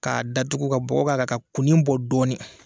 K'a datugu ka bɔgɔ k'a kan ka kunnin bɔ dɔɔnin.